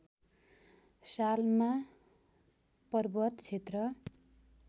सालमा पर्वत क्षेत्र